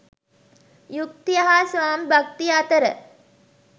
යුක්තිය හා ස්වාමි භක්තිය අතර